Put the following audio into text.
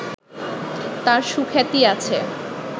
তাঁর সুখ্যাতি আছে